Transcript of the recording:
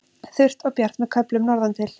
Þurrt og bjart með köflum norðantil